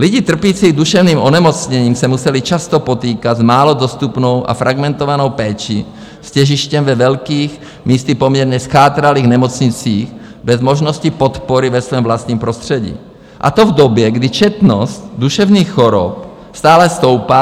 Lidi trpící duševním onemocněním se museli často potýkat s málo dostupnou a fragmentovanou péčí s těžištěm ve velkých, místy poměrně zchátralých nemocnicích bez možnosti podpory ve svém vlastním prostředí, a to v době, kdy četnost duševních chorob stále stoupá.